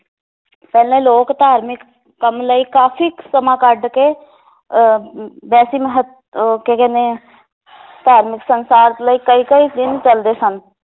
ਪਹਿਲਾਂ ਲੋਕ ਧਾਰਮਿਕ ਕੰਮ ਲਈ ਕਾਫੀ ਸਮਾਂ ਕੱਢ ਕੇ ਅਹ ਅਮ ਵੈਸੀ ਮਹਤ~ ਅਹ ਕੀ ਕਹਿੰਦੇ ਆ ਧਾਰਮਿਕ ਲਈ ਕਈ ਕਈ ਦਿਨ ਚਲਦੇ ਸਨ